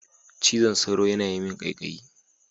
Cizon sauro yana yi min kaikayi.